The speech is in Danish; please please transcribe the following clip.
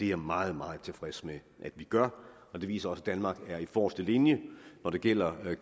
jeg meget meget tilfreds med at vi gør det viser også at danmark er i forreste linje når det gælder